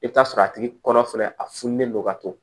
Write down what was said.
I bɛ t'a sɔrɔ a tigi kɔnɔ fɛnɛ a fununen don ka to